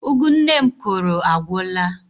Ụgụ nne m kụrụ agwụla.